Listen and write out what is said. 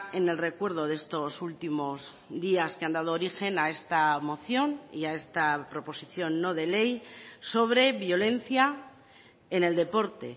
en el recuerdo de estos últimos días que han dado origen a esta moción y a esta proposición no de ley sobre violencia en el deporte